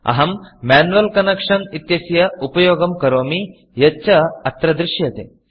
अहं मैन्युअल् Connectionमेन्युवल् कन्नेक्षन् इत्यस्य उपयोगं करोमि यच्च अत्र दृश्यते